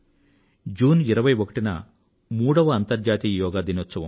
June 21వ తేదీన మూడవ అంతర్జాతీయ యోగా దినం